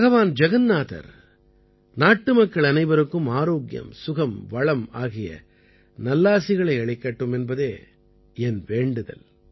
பகவான் ஜகன்நாதர் நாட்டுமக்கள் அனைவருக்கும் ஆரோக்கியம் சுகம் வளம் ஆகிய நல்லாசிகளை அளிக்கட்டும் என்பதே என் வேண்டுதல்